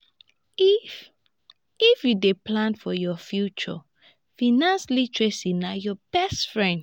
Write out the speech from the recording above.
if if you dey plan for your future financial literacy na your best friend